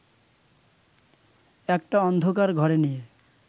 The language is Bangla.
একটা অন্ধকার ঘরে নিয়ে